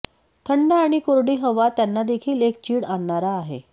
थंड आणि कोरडी हवा त्यांना देखील एक चीड आणणारा आहे